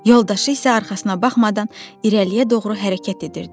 Yoldaşı isə arxasına baxmadan irəliyə doğru hərəkət edirdi.